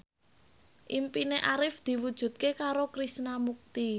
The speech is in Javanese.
impine Arif diwujudke karo Krishna Mukti